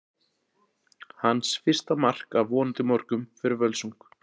Hans fyrsta mark, af vonandi mörgum, fyrir Völsung!